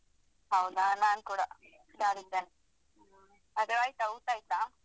ಹೌದಾ ನಾನ್ ಕೂಡ ಹುಷಾರಿದ್ದೇನೆ. ಹಾಗಾದ್ರೆ ಆಯ್ತಾ ಊಟ ಆಯ್ತಾ?